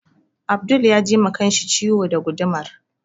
Abdul ya ji ma kanshi ciwo da gudumar